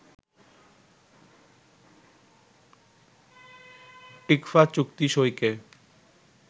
TICFA চুক্তি সইকে